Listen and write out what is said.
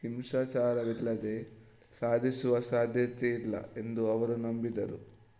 ಹಿಂಸಾಚಾರವಿಲ್ಲದೆ ಸಾಧಿಸುವ ಸಾಧ್ಯತೆಯಿಲ್ಲ ಎಂದು ಅವರು ನಂಬಿದ್ದರು